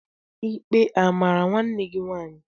Ikpe amara nwanne gị nwaanyị?